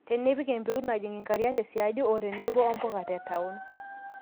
tenipik empeut najing inkariak te siadi o tenebo o mpuka te taon